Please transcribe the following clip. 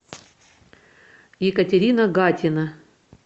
екатерина гатина